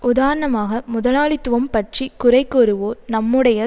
உதாரணமாக முதலாளித்துவம் பற்றி குறைகூறுவோர் நம்முடைய